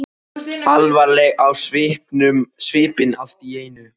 Alvarleg á svipinn allt í einu.